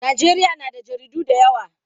Najeriya na da jaridu da yawa.